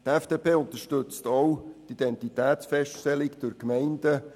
Die FDP unterstützt auch die Identitätsfeststellung durch die Gemeinden;